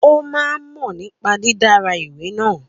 Ó máa ń mọ̀ nípa dídára ìwé náà.